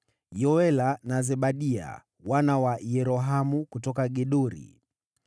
Yoela na Zebadia, wana wa Yerohamu, kutoka Gedori.